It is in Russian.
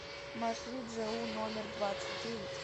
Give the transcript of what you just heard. маршрут жэу номер двадцать девять